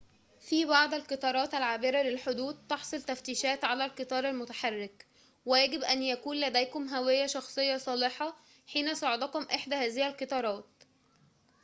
في بعض القطارات العابرة للحدود تحصل تفتيشات على القطار المتحرك ويجب أن يكون لديكم هوية شخصية صالحة حين صعودكم إحدى هذه القطارات